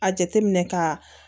A jateminɛ ka